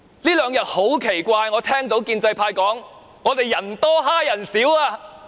這兩天很奇怪，我聽到建制派說我們"人多欺人少"。